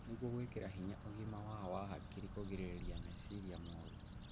Nĩguo gwĩkĩra hinya ũgima wao wa hakiri kũgirĩrĩria meciria moru